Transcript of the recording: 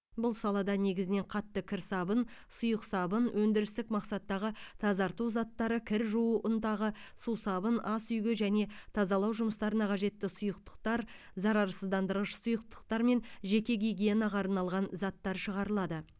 бұл салада негізінен қатты кір сабын сұйық сабын өндірістік мақсаттағы тазарту заттары кір жуу ұнтағы сусабын ас үйге және тазалау жұмыстарына қажетті сұйықтықтар зарарсыздандырғыш сұйықтықтар мен жеке гигиенаға арналған заттар шығарылады